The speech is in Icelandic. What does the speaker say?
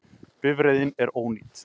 Bifreiðin er ónýt